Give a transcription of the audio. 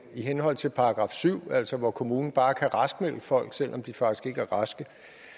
i henhold til § syv altså hvor kommunen bare kan raskmelde folk selv om de faktisk ikke er raske